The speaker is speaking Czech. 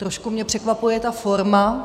Trošku mě překvapuje ta forma.